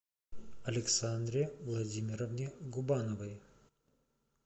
александре владимировне губановой